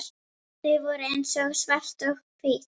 Þau voru eins og svart og hvítt.